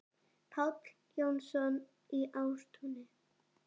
Páll Jónsson í Ástúni